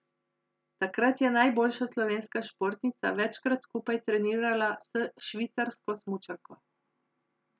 Takrat je najboljša slovenska športnica večkrat skupaj trenirala s švicarsko smučarko.